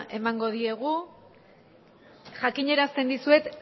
emango diogu jakiñerasten dizuet